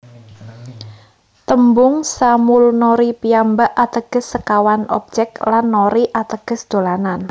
Tembung Samulnori piyambak ateges sekawan objek lan nori ateges dolanan